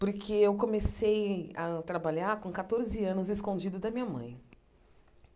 Porque eu comecei a trabalhar com catorze anos, escondido da minha mãe.